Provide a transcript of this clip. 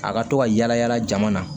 A ka to ka yala yala jama na